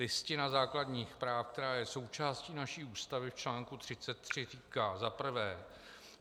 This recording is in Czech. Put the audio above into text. Listina základních práv, která je součástí naší Ústavy, v článku 33 říká: Za prvé.